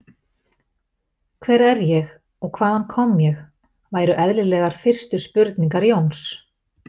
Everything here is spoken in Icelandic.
Hver er ég og hvaðan kom ég, væru eðlilegar fyrstu spurningar Jóns.